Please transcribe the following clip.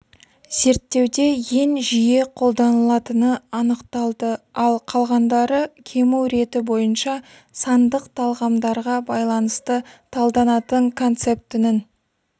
зерттеуде ең жиі қолданылатыны анықталды ал қалғандары кему реті бойынша сандық талғамдарға байланысты талданатын концептінің